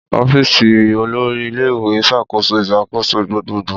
Ọfíìsì olori ile-iwe n ṣakoso iṣakoso gbogbogbo.